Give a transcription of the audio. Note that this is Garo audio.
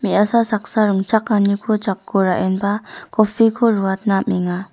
me·asa saksa ringchakaniko jako ra·enba coffee-ko ruatna amenga.